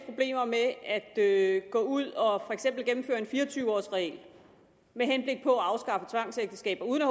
problemer med at gå ud og for eksempel gennemføre en fire og tyve års regel med henblik på at afskaffe tvangsægteskaber uden at